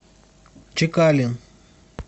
чекалин